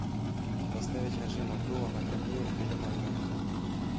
поставить режима обдува на кондее в пеленальной